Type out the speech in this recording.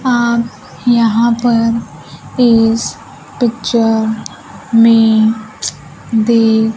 आप यहां पर इस पिक्चर में